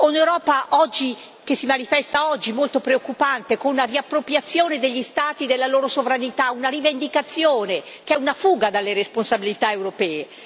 O l'Europa che si manifesta molto preoccupante, con una riappropriazione degli Stati della loro sovranità, una rivendicazione che è una fuga dalle responsabilità europee?